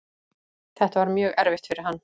Þetta var mjög erfitt fyrir hann.